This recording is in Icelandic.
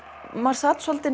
maður sat svolítið